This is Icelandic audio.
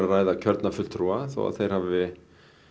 ræða kjörna fulltrúa þó að þeir hafi